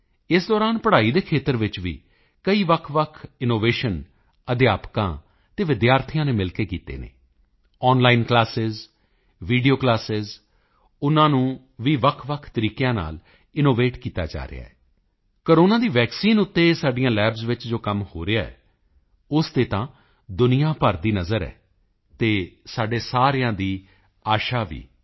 ਇਸ ਦੌਰਾਨ ਪੜ੍ਹਾਈ ਦੇ ਖੇਤਰ ਵਿੱਚ ਵੀ ਕਈ ਵੱਖਵੱਖ ਇਨੋਵੇਸ਼ਨ ਅਧਿਆਪਕਾਂ ਅਤੇ ਵਿਦਿਆਰਥੀਆਂ ਨੇ ਮਿਲ ਕੇ ਕੀਤੇ ਹਨ ਆਨਲਾਈਨ ਕਲਾਸਾਂ ਵੀਡੀਓ ਕਲਾਸਾਂ ਉਸ ਨੂੰ ਵੀ ਅਲੱਗਅਲੱਗ ਤਰੀਕਿਆਂ ਨਾਲ ਇਨੋਵੇਟ ਕੀਤਾ ਜਾ ਰਿਹਾ ਹੈ ਕੋਰੋਨਾ ਦੀ ਵੈਕਸੀਨ ਅਤੇ ਸਾਡੀਆਂ ਲੈਬਜ਼ ਵਿੱਚ ਜੋ ਕੰਮ ਹੋ ਰਿਹਾ ਹੈ ਉਸ ਤੇ ਤਾਂ ਦੁਨੀਆ ਭਰ ਦੀ ਨਜ਼ਰ ਹੈ ਅਤੇ ਸਾਡੇ ਸਾਰਿਆਂ ਦੀ ਆਸ਼ਾ ਵੀ